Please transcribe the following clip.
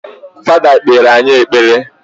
Fada kpere anyị ekpere